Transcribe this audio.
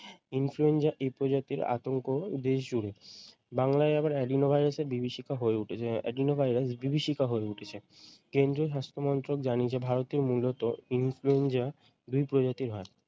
influenza এই প্রজাতির আতংক দেশ জুড়ে । বাংলায় আবার adreno ভাইরাসের বিভীষিকা হয় উঠেছে উম adreno ভাইরাস বিভীষিকা হয়ে উঠেছে। কেন্দীয় স্বাস্থ্যমন্ত্রক জানিয়েছে ভারতে মূলত influenza দুই প্রজাতির হয়।